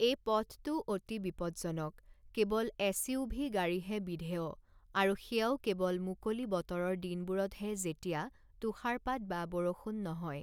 এই পথটো অতি বিপদজনক, কেৱল এচইউভি গাড়ীহে বিধেয়, আৰু সেয়াও কেৱল মুকলি বতৰৰ দিনবোৰতহে যেতিয়া তুষাৰপাত বা বৰষুণ নহয়।